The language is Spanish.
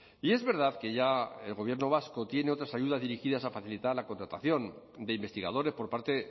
y es verdad que ya el gobierno vasco tiene otras ayudas dirigidas a facilitar la contratación de investigadores por parte